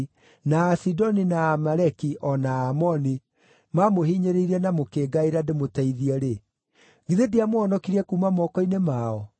na Asidoni, na Aamaleki, o na Amaoni maamũhinyĩrĩirie na mũkĩngaĩra ndĩmũteithie-rĩ, githĩ ndiamũhonokirie kuuma moko-inĩ mao?